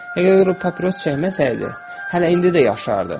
Əgər o papiros çəkməsəydi, hələ indi də yaşardı.